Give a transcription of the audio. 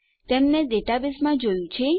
આપણે તેમને ડેટાબેઝમાં જોયું છે